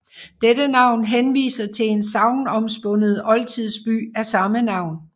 Dette navn henviser til en sagnomspundet oldtidsby af samme navn